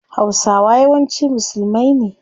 Hausawa yawanci musulmai ne